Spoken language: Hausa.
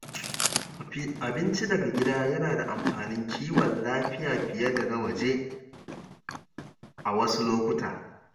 Abinci daga gida yana da amfanin kiwon lafiya fiye da na waje a wasu lokuta.